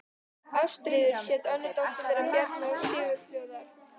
Ástríður hét önnur dóttir þeirra Bjarna og Sigurfljóðar.